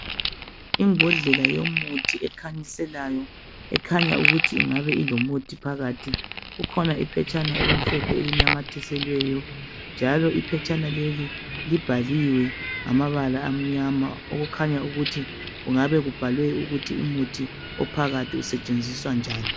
Imbodlela yomuthi ekhanyiselayo ekhanya ukuthi ingabe ilomuthi phakathi kukhona iphetshana elimhlophe elinamathiselweyo njalo iphetshana leli libhaliwe ngamabala amnyama okukhanya ukuthi kungabe kubhalwe ukuthi umuthi ophakathi usetshenziswa njani.